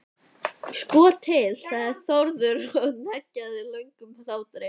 Sko til, sagði Þórður og hneggjaði löngum hlátri.